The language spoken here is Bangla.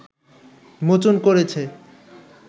মোচন করেছে